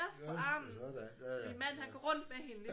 Ja nåh da ja ja ja